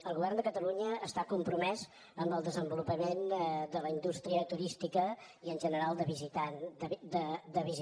el govern de catalunya està compromès en el desenvolupament de la indústria turística i en general de visitants